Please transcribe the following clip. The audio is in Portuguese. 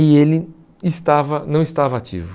E ele estava não estava ativo.